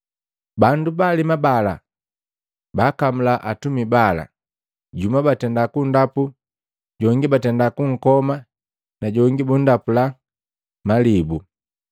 Bandu baalema bala baakamula atumika bala, jumu batenda kunndapu, jongi batenda kunkoma na jongi bunndapula na malibu.